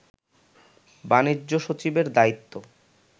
বাণিজ্য সচিবের দায়িত্ব